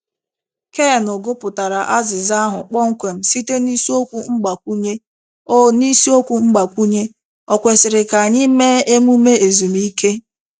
Keanu gụpụtara azịza ahụ kpọmkwem site n’isiokwu mgbakwunye “Ò n’isiokwu mgbakwunye “Ò kwesịrị ka anyị mee emume ezumike?”